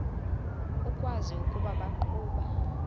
ukwazi ukuba baqhuba